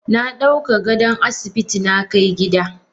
Nadauka gadon asibiti nakai gida.